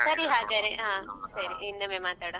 ಸರಿ ಹಾಗದ್ರೆ ಇನ್ನೊಮ್ಮೆ ಮಾತಾಡ್ವ.